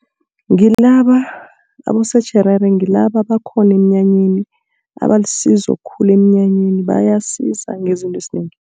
Abosotjherere ngilaba abakhona emnyanyeni, abalisizo khulu emnyanyeni bayasiza ngezinto ezinengi.